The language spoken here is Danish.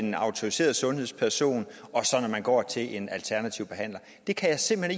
en autoriseret sundhedsperson og når man går til en alternativ behandler jeg kan simpelt